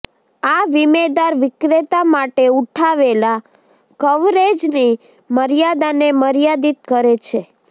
આ વીમેદાર વિક્રેતા માટે ઉઠાવેલા કવરેજની મર્યાદાને મર્યાદિત કરે છે